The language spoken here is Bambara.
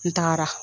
N tagara